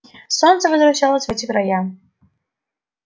солнце возвращалось в эти края